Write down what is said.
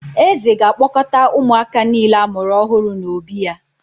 Eze ga-akpọkọta ụmụaka niile a mụrụ ọhụrụ n’obí ya